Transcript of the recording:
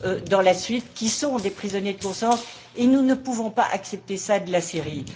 par la suite, qui sont des prisonniers de conscience, et nous ne pouvons pas accepter cela de la Syrie.